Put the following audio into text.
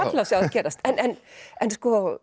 gerast en en